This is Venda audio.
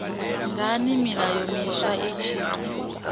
ngani milayo miswa i tshi